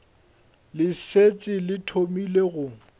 le šetše le thomile go